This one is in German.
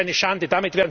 Das ist eine Schande!